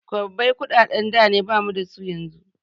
Kwabbai kuɗaɗen da ne bamu dasu yanzu